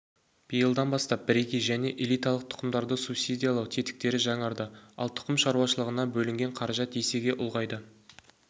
биылдан бастап бірегей және элиталық тұқымдарды субсидиялау тетіктері жаңарды ал тұқым шаруашылығына бөлінген қаражат есеге ұлғайды